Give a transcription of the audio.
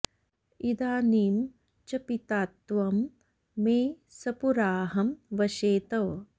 इदानीं च पिता त्वं मे सपुराहं वशे तव